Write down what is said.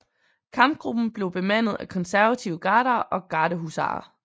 Kampgruppen blev bemandet af konservative Gardere og Gardehusarer